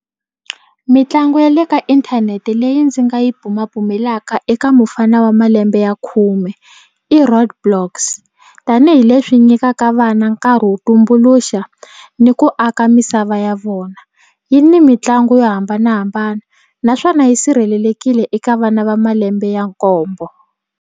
Mitlangu ya le ka inthanete leyi ndzi nga yi bumabumelaka eka mufana wa malembe ya khume i roadblocks tanihileswi nyikaka vana nkarhi wo tumbuluxa ni ku aka misava ya vona yi ni mitlangu yo hambanahambana naswona yi sirhelelekile eka vana va malembe ya nkombo.